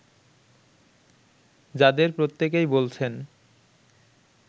যাদের প্রত্যেকেই বলছেন